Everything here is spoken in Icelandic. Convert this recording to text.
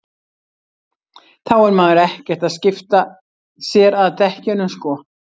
þá er maður ekkert að skipta sér að dekkjunum sko